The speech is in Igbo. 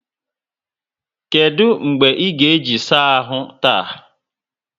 Kedụ mgbe ị ga-eji saa ahụ taa?